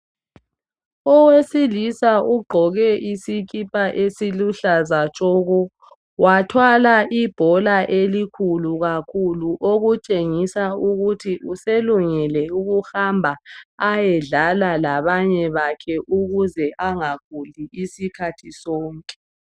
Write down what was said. Owesilisa ugqoke isikipa esiluhlaza tshoko wathwala ibhola elikhulu kakhulu okutshengisa ukuthi uselungele ukuhamba ayedlala labanye bakhe ukuze angaguli isikhathi sonke.